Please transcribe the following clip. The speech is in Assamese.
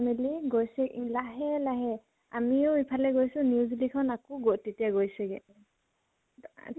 গৈছে ই লাহে লাহে, আমিও ইফালে গৈছো খন আকৌ গ তেতিয়া গৈছেগে